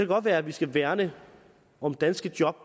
godt være at vi skal værne om danske job